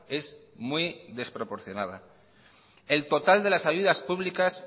es muy desproporcionada el total de las ayudas públicas